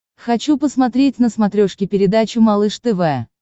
хочу посмотреть на смотрешке передачу малыш тв